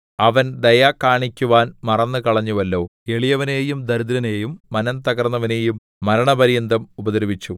അവൻ ദയ കാണിക്കുവാൻ മറന്നുകളഞ്ഞുവല്ലോ എളിയവനെയും ദരിദ്രനെയും മനംതകർന്നവനെയും മരണപര്യന്തം ഉപദ്രവിച്ചു